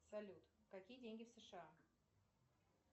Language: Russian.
салют какие деньги в сша